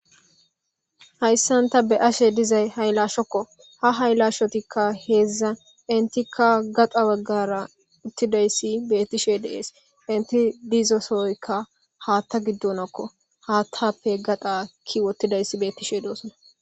Hayisani ta bea'ashe dizayi hayilashokko. Ha hayilashotikka hedza enitikka gaxxa baggara utidayisi betishe de'esi. Eti dizo sohoyiko haatha gidonakko. Haathappe gaxa keyi utidayisi betishe de'esi.